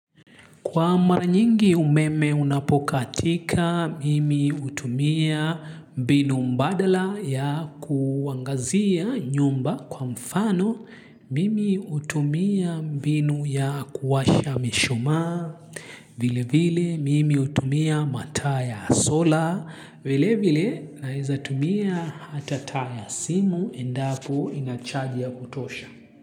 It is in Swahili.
Kwa mara nyingi umeme unapokatika, mimi hutumia mbinu mbadala ya kuangazia nyumba kwa mfano, mimi hutumia mbinu ya kuwasha mishumaa, vile vile mimi hutumia mataa ya sola, vile vile na nwezatumia hata taa simu endapo inachajii ya kutosha.